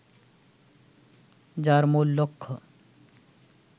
যার মূল লক্ষ্য